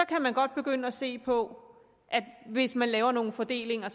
kan man godt begynde at se på at hvis man laver nogle fordelinger